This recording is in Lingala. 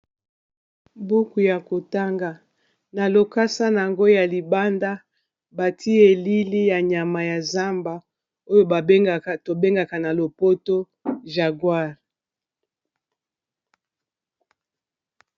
buku ya kotanga na lokasa nayango ya libanda bati elili ya nyama ya zamba oyo tobengaka na lopoto jaguar